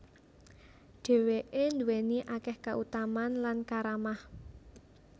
Dhèwké nduwèni akèh kautamaan lan karamah